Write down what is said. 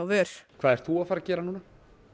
vör hvað ert þú að fara að gera núna